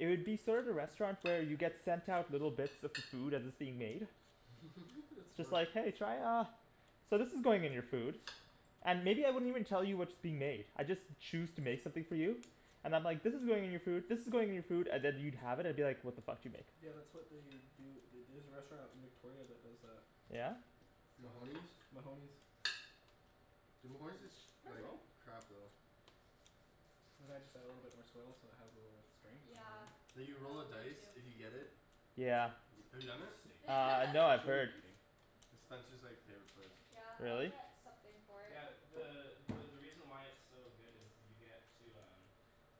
It would be sort of the restaurant where you get sent out little bits of the food as it's being made That's It's smart like "Hey, try uh" "So this is going in your food" And maybe I wouldn't even tell you what's being made. I'd just choose to make something for you. And I'm like "this is going in your food, this is going in your food" and then you'd have it and be like "what the fuck did you make?" Yeah that's what they do at the- there's a restaurant in Victoria that does that. Mahoney's? Mahoney's Dude, Mahoney's is sh- There you like go. Perfect. crap though. And then I just I add little bit more swell so it has a little strength Yeah, Like you roll a oh me dice if too. you get it. Yeah. Have you It's done just a it? steak knife. Uh no I've That's where we'll heard be eating. It's Spencer's like favorite place. Yeah, I'll Really? get something for it. Yeah, the the the reason why it's so good is you get to um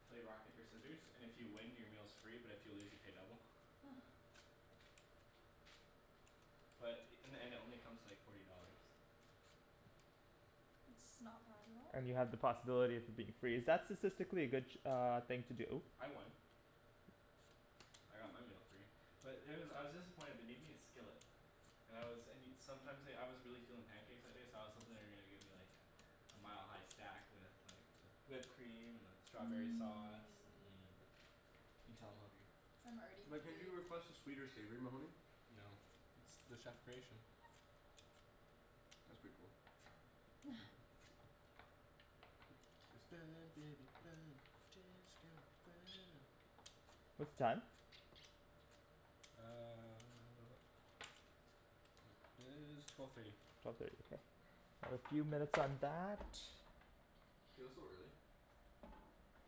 play rock paper scissors and if you win your meal's free but if you lose you pay double. But in the end it only comes to like forty dollars. It's not bad at all. And you have the possibility of it being free, is that statistically a good uh thing to do? I won. I got my meal free. But there was, I was disappointed, they made me a skillet. And I was and you, sometimes like, I was really feelin' pancakes that day so I was hopin' they were gonna give me like a a mile-high stack with like the whipped cream and the strawberry sauce, Mmm mm You can tell I'm hungry. I'm already Like can't you hungry. request a sweet or savory Mahoney? No, it's the chef creation. That's pretty cool. Burn baby burn disco inferno What's the time? Uh It is twelve thirty. Another few minutes on that. It feels so early.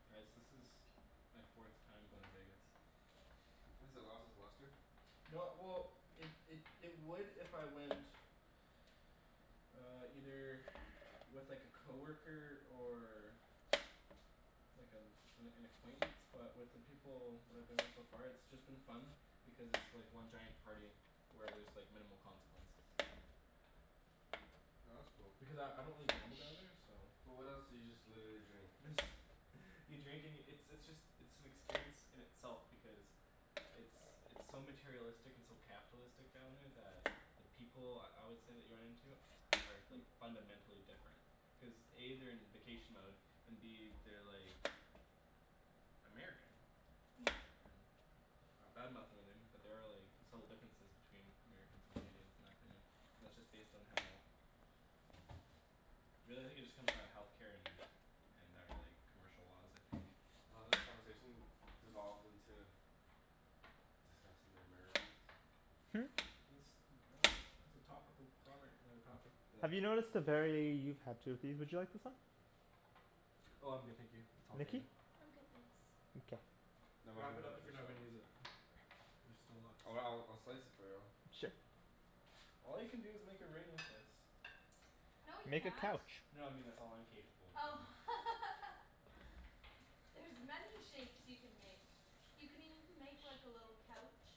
Guys this is my fourth time going to Vegas. Has it lost its luster? No well it it it would if I went Uh either with like a coworker or like an an an acquaintance but with the people that I've been with so far it's been just fun because it's just like one giant party where there's like minimal consequences. Oh that's cool. Because I I don't really gamble down there so But what else, so you just literally drink? You drink and yo- it's it's just it's an experience in itself because it's it's so materialistic and so capitalistic down there that the people I would say that you run into are like fundamentally different cuz A they're in vacation mode and B they're like American. Not badmouthing or anything but there are like subtle differences between Americans and Canadians in my opinion and that's just based on how really I think it just comes down to healthcare and our like commercial laws I think. I love how this conversation devolved into discussing the Americans. Hmm? I dunno it's a topical comment on a topic that Have you noticed a very, you've had two of these, would you like this one? Oh I'm good, thank you, it's all Nikki? dandy. I'm good, thanks. Okay. No Wrap it up if you're not gonna use it. There's still lots. Oh I'll I'll slice it for you. Sure. All you can do is make a ring with this. No you Make a can't. couch. No I mean that's all I'm capable of Oh doing. There's many shapes you can make. You can even make like a little couch.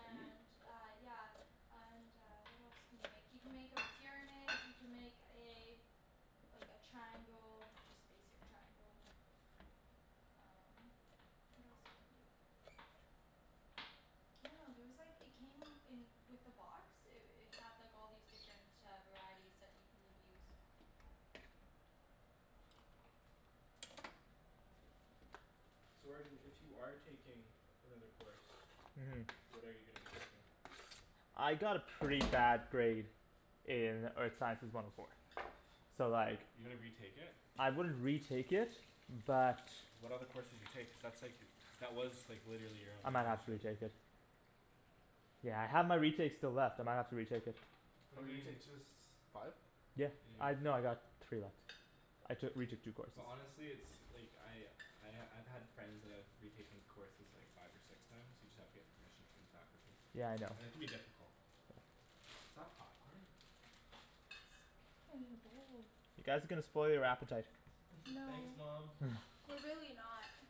Can you? uh, yeah And uh what else can you make, you can make a pyramid you can make a Like a triangle, just basic triangle. Um what else can you do? I dunno, there was like, it came in with the box, it it had like all these different uh varieties that you can use. So Arjan if you are taking another course Mm What are you gonna be taking? I got a pretty bad grade in earth sciences one oh four, so like You're gonna retake it? I wouldn't retake it but What other courses you take? Cuz that's like, that was like literally your I only might have to option. retake it. Yeah I have my retakes still left, I might have to retake it. What How do many you mean? retakes? Just Five? Yeah, I, no I got three left, I took retook two courses. Well honestly it's like, I I I've had friends that have retaken courses like five or six times you just have to get permission from the faculty Yeah, I know. and it can be difficult. Is that popcorn? In the bowl You guys are gonna spoil your appetite. Thanks No. mom. We're really not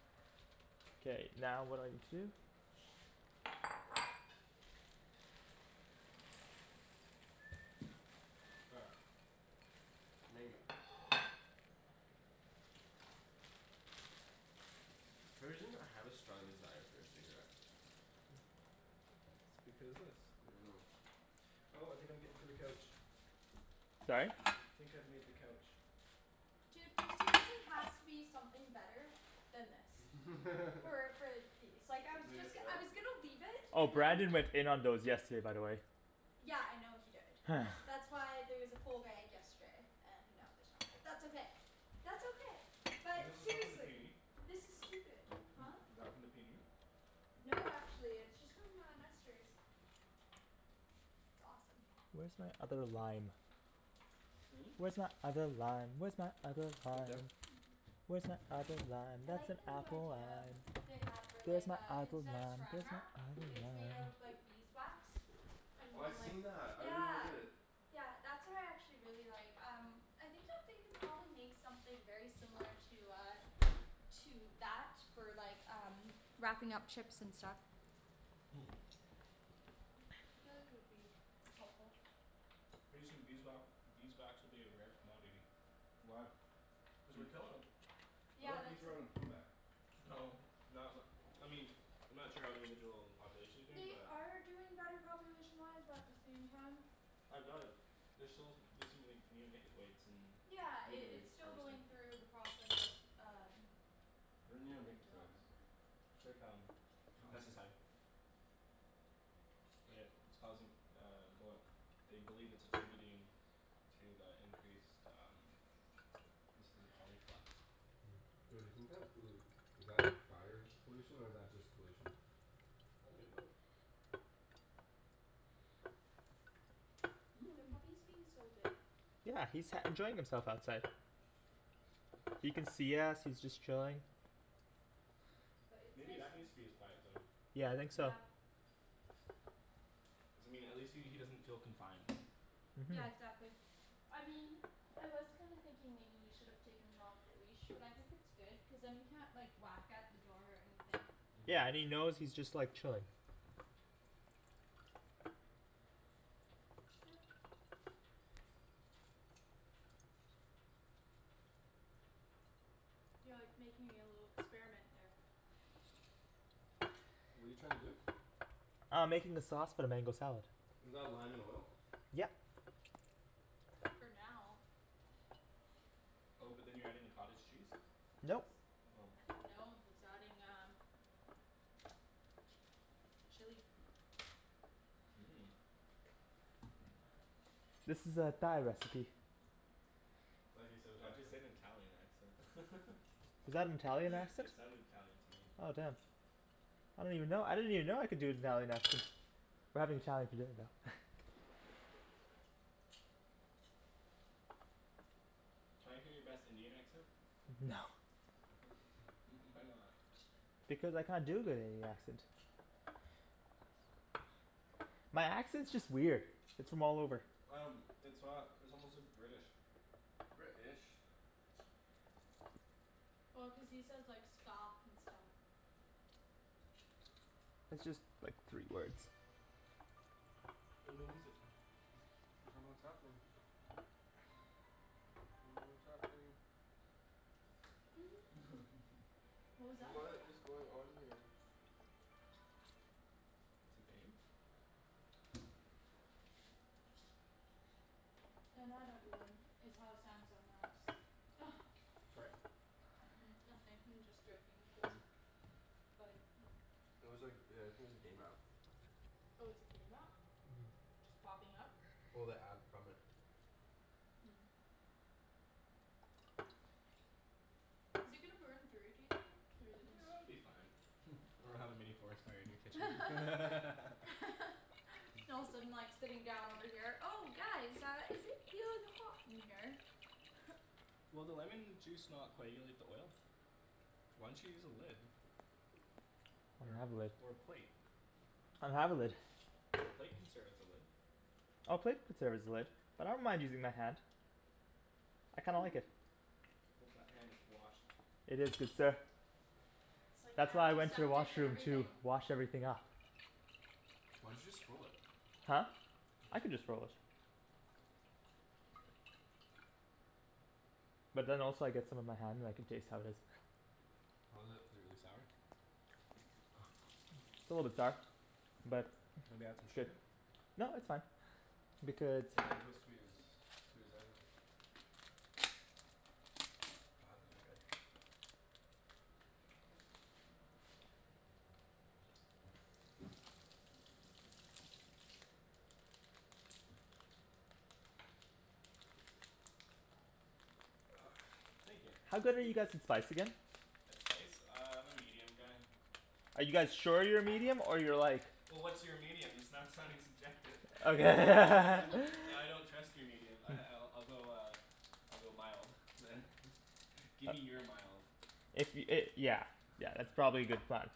K, now what do I need to do? All right. Mango For some reason I have a strong desire for a cigarette. Because this I dunno. Oh I think I'm getting to the couch. Sorry? I think I've made the couch. Dude there seriously has to be something better than this. So like I was Is it just I was gonna leave it Oh, and then Brandon went in on those yesterday by the way. Yeah I know he did, that's why there was a full bag yesterday and now there's not, but that's okay, that's okay, Is but this the stuff from the seriously, PNE? this is stupid. Huh? Is that from the PNE? No, actually, it's just from uh Nester's. It's awesome. Where's my other lime? Hm? Where's my other lime? Where's my other lime? Where's my other lime? I That's like an the new apple idea lime. they have for Where's like my uh other instead of lime? saran Where's my wrap other it's made out of lime? like beeswax. And Oh I've like, seen that, I really yeah. wanted it. Yeah that's what I actually really like um I think that they could probably make something very similar to uh To that for like um wrapping up chips and stuff. I feel like it would be helpful. Pretty soon beeswa- beeswax will be a rare commodity. Why? Cuz we're killin' 'em. I Yeah thought that's bees were on a a comeback. No, not n- I mean, I'm not sure how individual populations are doing They but are doing better population wise but at the same time I doubt it, they're still using like neonicotoids in Yeah, it blueberry it's still harvesting. going through the process of um What are like neonicotoids? development. It's like um, God pesticide But it it's causing um well they believe it's attributing to the increased um instances of colony collapse. Yo do you think that pollu- is that fire pollution or is that just pollution? Oh a bit of both. The puppy's being so good. Yeah, he's sat enjoying himself outside. He can see us, he's just chilling. But it's Maybe nice. that needs to be his quiet zone. Yeah, I think so. Yeah. Doesn't mean at least he he doesn't feel confined. Yeah exactly, I mean I was kind of thinking maybe we should have taken him off the leash but I think it's good cuz then he can't like whack at the door or anything. Mhm Yeah, and he knows he's just like chilling. Yeah. You're like making a little experiment there. What're you trying to do? Uh I'm making the sauce for the mango salad. Is that lime and oil? Yep. For now Oh but then you're adding the cottage cheese? Nope. Oh No, he's adding um Chili Mmm This is a Thai recipe. I love how you say it with the Why'd you say accent. it in an Italian accent? Is that an Italian accent? It sounded Italian to me. Oh damn. I don't even know, I didn't even know I could do an Italian accent. We're having Thai for dinner though. Can I hear your best Indian accent? No. why not? Because I can't do a good Indian accent. My accent's just weird, it's from all over. Um it's not, it's almost like British. British Well cuz he says like "skahf" and stuff. It's just like three words. No no music I don't know what's happening. Don't know what's happening. What was that What about? is going on here? It's a game? No not everyone, it's how Samsung apps Sorry? Nothing I'm just joking cuz Like It was like uh it was a game app. Oh it's a game app? Mhm Popping up? Well, the ad from it. Is it gonna burn through, do you think? Or is it gonna s- It'll be fine or we'll have a mini forest fire in your kitchen All of a sudden like sitting down over here, "Oh guys uh is it feeling hot in here?" Will the lemon juice not coagulate the oil? Why don't you use a lid? I Or don't have a lid. a or a plate? I don't have a lid. The plate can serve as a lid. Oh plate could serve as a lid, but I don't mind using my hand. I kinda like it. Hope that hand is washed. It is, good sir. Like That's why I went to the antiseptic and washroom to everything. wash everything up. Why'd you just throw it? Huh? I can just throw it. But then also I get some on my hand and I can taste how it is. How is it? Really sour. It's a little bit sour. But, Maybe add some shit sugar? No, it's fine. Because The mango's sweet as, sweet as anything. God, those are good. Thank ya. How good are you guys with spice again? That spice? Uh I'm a medium guy. Are you guys sure you're medium or you're like Well what's your medium? That's not sounding subjective Okay Now I don't trust your medium ah I I'll go uh I'll go mild, man. Gimme your mild. If y- it yeah yeah that's probably a good plan.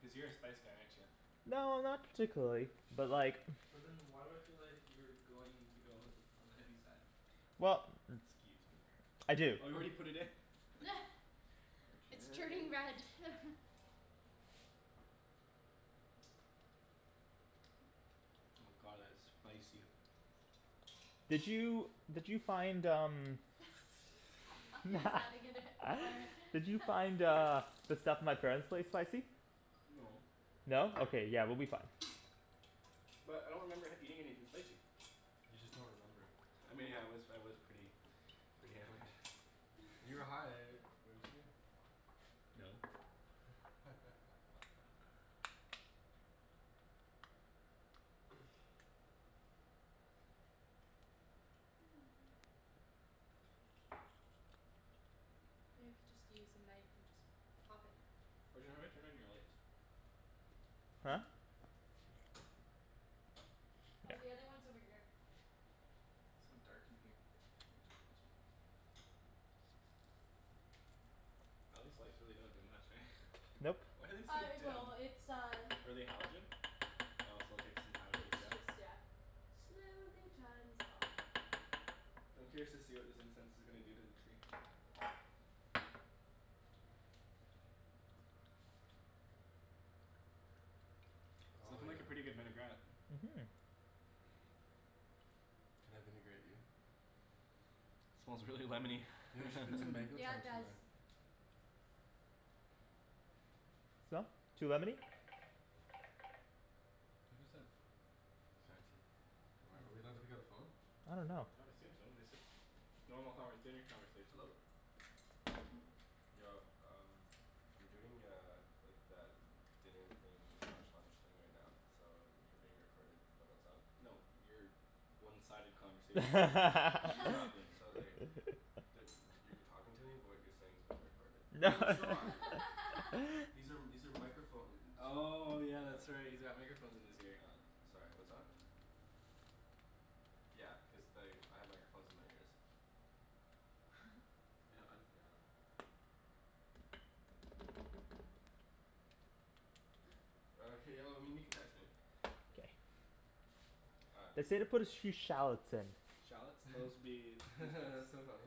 Cuz you're a spice guy, aren't ya? No not particularly, but like But then why do I feel like you're going to go all th- on the heavy side? Well Excuse me? I do It's turning Arjan red Oh my god, that's spicy. Did you did you find um He's adding in it more in Did you find uh the stuff at my parents' place spicy? No. No? Okay, yeah we'll be fine. But I don't remember eating anything spicy. You just don't remember. I mean I was I was pretty pretty hammered. You were high, weren't you? You know you could just use a knife and just pop it. Arjan, how do I turn on your lights? Huh? Hmm? Yeah. Oh, the other one's over here. So dark in here. Maybe we'll turn this one on. Aw these lights don't really do much eh? Nope. Why are they so Uh it dim? will, it's uh Are they halogen? Oh so it'll take some time to heat It's up? just yeah, slowly turns on. I'm curious to see what this incense is gonna do to the tree. It's Oh lookin' yeah. like a pretty good vinaigrette. Mhm Can I vinaigrette you? Smells really lemony Yo, you should put some Mm, mango yeah it chunks in does. there. So? Too lemony? Who's that? Am I, are we allowed to pick up the phone? I dunno. I would assume so, they said normal conver- dinner conversation. Hello? Yo, um I'm doing uh like that dinner thing slash lunch thing right now so you're being recorded but what's up? No, your one-sided conversation is being recorded. He's not being So recorded. like you're talking to me but what you're saying is being recorded. No No it's not. These are these are microphone Oh yeah, that's Yeah. right, he's got microphones in his ear. Yeah, sorry what's up? Yeah, cuz like I have microphones in my ears. Oh hey y- well I mean you can text me. All right, They peace. say to put a sh- few shallots in. Shallots? Those'll be That's so funny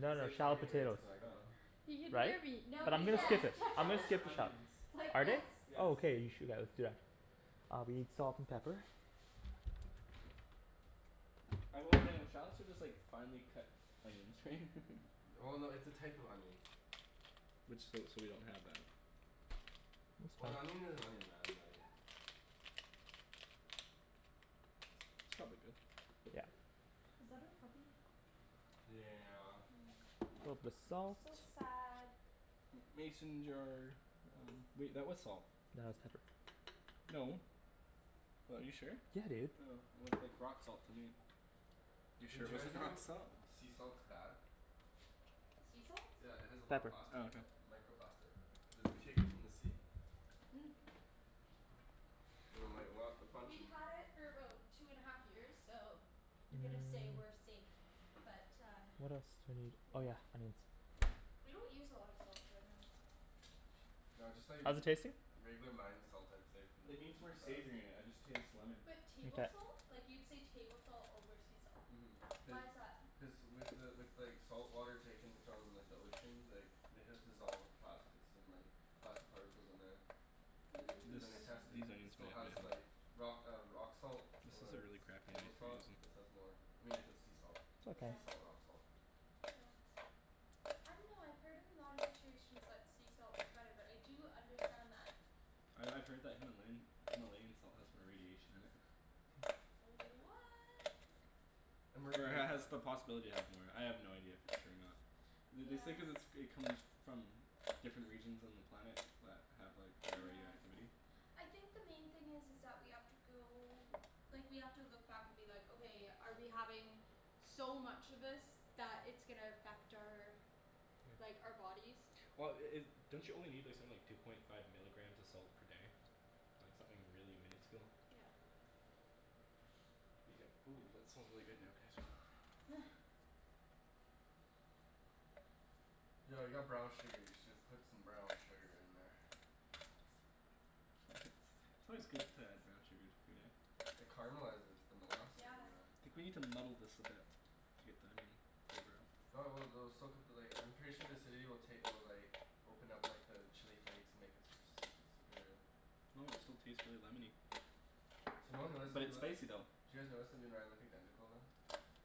No, he's no like shallot talking right potatoes. to the Oh microphone. He can Right? hear me, But no No, I'm he gonna shallots skip can't it. I'm gonna shallots are skip the shop. onions. it's like Are they? yes Yes. Oh okay, you should, yeah let's do that. I'll be salt and pepper. I hope they don't, shallots are just like finely cut onions right? Well no, it's a type of onion. Which, so so we don't have that. That's Well an fine. onion is an onion man, like It's not a big deal. Yeah. Was that our puppy? Yeah. Little bit of salt. So sad. Mason jar. Wait, that was salt. No, that's pepper. No. What, are you sure? Yeah, dude. Oh, it looked like rock salt to me. You're sure Did it you guys wasn't rock know salt? sea salt's bad? Sea salt? Yeah it has a lot of Pepper. plastic Oh, in okay. it. Microplastic. Cuz it's taken from the sea. Mm. And like a lot a bunch We've of had it for about two and a half years, so I'm gonna say we're safe, but uh What else do I need? Oh Yep. yeah, onions. We don't use a lot of salt generally. No I just thought you'd How's v- it tasting? regular mined salt I'd say from the, It needs is more the best. savory in it. I just taste lemon. But table Mkay. salt? Like you'd say table salt over sea salt. Mhm. Cuz Why is that? Cuz with the with like salt water taken from like the ocean like it has dissolved plastics and like plastic particles in there. They This then they tested it. these Mmm. It onions might still has need help. like rock uh rock salt This is a or really crappy table knife you're salt. using. This has more. I mean if it's sea salt, Yeah. Okay sea salt rock salt. Yeah. I dunno, I've heard in a lot of situations that sea salt is better, but I do understand that. I I've heard that Himalayan Himalayan salt has more radiation in it. What! And Or it mercury and ha- has stuff. the possibility to have more. I have no idea if it's true or not. Th- they say Yeah. cuz it's it comes from different regions on the planet that have like higher Yeah. radioactivity. I think the main thing is is that we have to go, like we have to look back and be like "Okay, are we having so much of this that it's gonna affect our like, our bodies?" Well i- i- don't you only need like something like two point five milligrams of salt per day? Like something really minuscule? Yep. Ooh, that smells really good now, can I smell? Yo I got brown sugar. You should put some brown sugar in there. It's always good to add brown sugar to food, eh? It caramelizes. It's the molasses Yeah. in there. I think we need to muddle this a bit to get the onion flavor out. No I will, they'll still cut the like, I'm sure the acidity will take will like open up like the chili flakes and make it super s- super Well, it still tastes really lemony. So no one realized that But we it's look. Did spicy though. you guys notice that me and Ryan look identical now?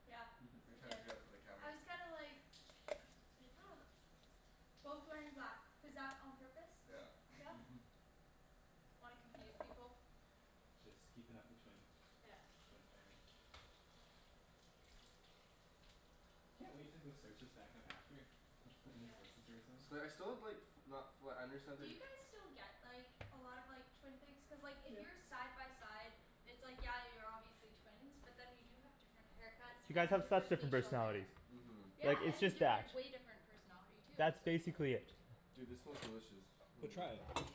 Yeah We I Mhm. tried to did. do that for the camera. I was kinda like Like Both wearing black. Was that on purpose? Yeah. Yeah? Mhm. Wanna confuse people? Just keepin' up the twin Yeah. Twin thing. I can't wait to go search us back up after and just Yes. listen to ourselves. So like I still have like not flat understand Do their you guys still get like a lot of like twin things? Cuz like if Yeah. you're side by side it's like, yeah you're obviously twins, but then you do have different haircuts You guys and have such different different facial personalities. hair. Mhm. Yeah, Like, it's and just that different, way different personality too, That's so it's like basically it. Dude, this smells delicious No, try it.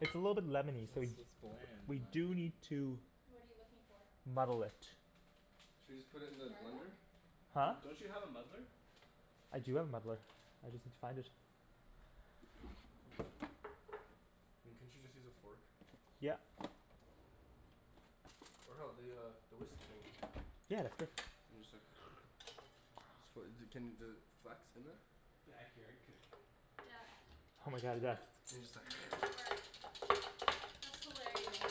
It's a little bit lemony, so we It's it's bland in We my do opinion. need to What are you looking for? muddle it. Should we just put it in the blender? Garlic? D- Huh? don't you have a muddler? I do have a muddler. I just need to find it I mean, couldn't you just use a fork? Yep. Or hell, the uh the whisk thing. Yeah, that's good. Then you just like So wh- y- d- can you does it, flax in there? Backyard cooking. Yeah Oh my god, yes. And just He makes it work. like That's hilarious.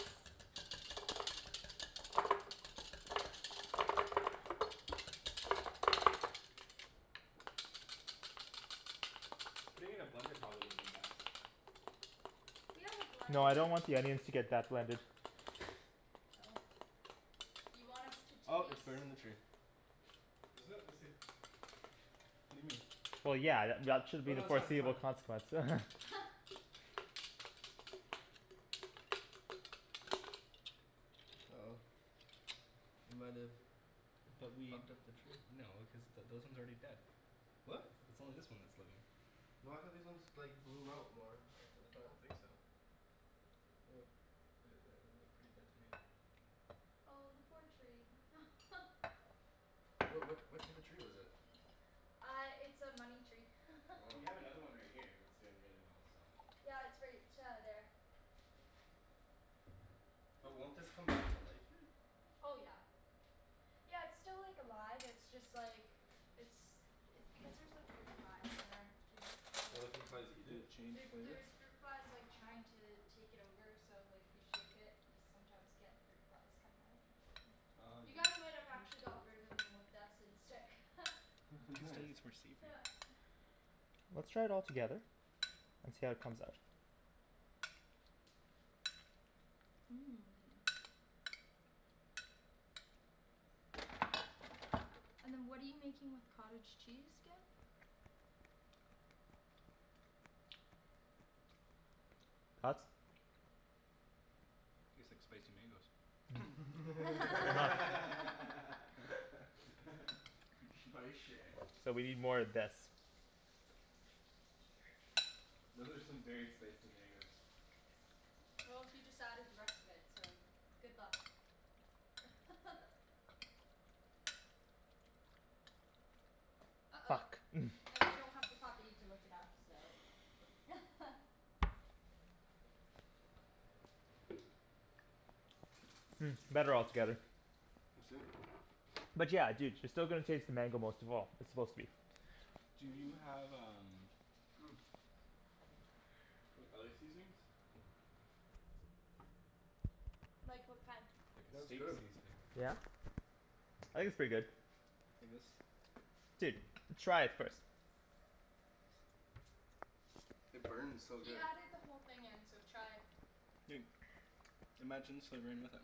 Putting it in a blender probably woulda been best. We have a No, I blender. don't want the onions to get that blended. Oh. You want us to Oh it's taste burning the tree. Is it? Let's see. What do you mean? Well yeah, th- y- at should Oh be the no, that's fine, that's foreseeable fine. consequence Uh oh. We might've fucked up the tree. No, cuz th- those ones are already dead. It's What? it's only this one that's living. No I thought these ones like bloom out more after the I fact. don't think so. The- the- they look pretty dead to me. Oh the poor tree What what what type of tree was it? Uh it's a money tree Well, you have another one right here that's doing really well, so. Yeah, it's right uh there. But won't this come back to life here? Oh yeah. Yeah it's still like alive, it's just like it's it's because there's like fruit flies there too, so Oh the fruit kinda flies eat Did it? it change There flavor? there's fruit flies like trying to take it over so like if you shake it you sometimes get fruit flies coming out Oh You dude. guys might have actually got rid of them with that scent stick I think we still Nice. need some more seafood. Yeah Let's try it all together and see how it comes out. Mmm. And then what are you making with cottage cheese, again? Thoughts? Tastes like spicy mangoes. Spicy. So we need more of this. Those are some very spicy mangoes. Well, he just added the rest of it, so good luck. Uh oh, Fuck. and we don't have the puppy to lick it up so Hmm, better all together. Let's see it. But yeah, dude, you're still going to taste the mango most of all. It's supposed to be Do you have um like other seasonings? Like what kind? Like a That's steak good. seasoning. Yeah. I think it's pretty good. Like this. Dude, try it first. It burns so He good. added the whole thing in, so try. Dude. Imagine slivering with it.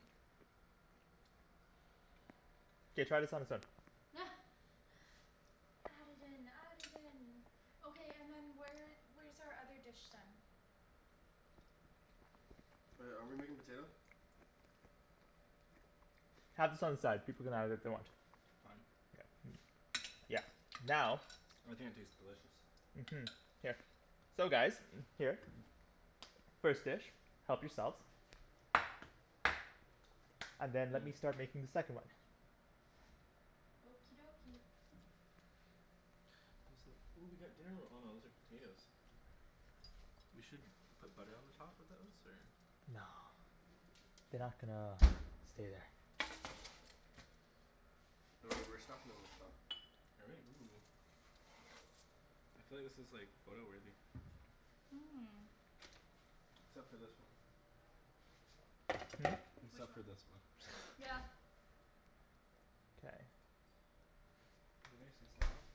K, try this on its own. Add it in, add it in. Okay, and then where where's our other dish then? Oh yeah, are we making potato? Have this on the side, people can have it if they want. Fine. Yeah. Now I think it tastes delicious. Mhm. Here. So guys, here. First dish, help yourselves. And then let me Mmm. start making the second one. Okie dokie. These look ooh we got dinner ro- oh no those are potatoes. We should put butter on the top of those or? No They're not gonna stay there. Oh right, we're stuffin' 'em with stuff. Are we? Ooh. I feel like this is like photo-worthy. Mmm. Except for this one. Hmm? Which Except one? for this one. Yeah. K. They're nice and soft.